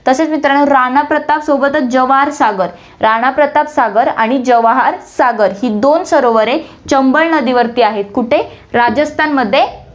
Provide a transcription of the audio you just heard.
तसेच मित्रांनो, राणाप्रताप सोबतच जवाहर सागर, राणाप्रताप सागर आणि जवाहर सागर ही दोन सरोवरे चंबळ नदीवरती आहे, कुठे, राजस्थानमध्ये आ~